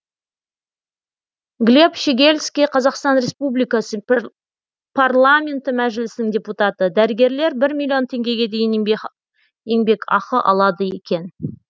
глеб щегельский қазақстан республикасы парламенті мәжілісінің депутаты дәрігерлер бір миллион теңгеге дейін еңбекақы алады екен